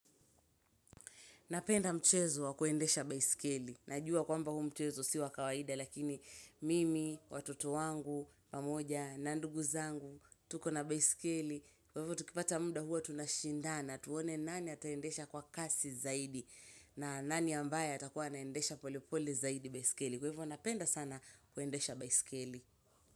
Napenda mchezo wa kuendesha baiskeli. Najua kwamba huu mchezo siwa kawaida lakini mimi, watoto wangu, pamoja, na nduguzangu, tuko na baiskeli. Kwa hivyo tukipata mda huwa tunashindana tuone nani ataendesha kwa kasi zaidi. Na nani ambaya atakuwa anaendesha pole pole zaidi baiskeli. Kwa hivyo napenda sana kuendesha baiskeli.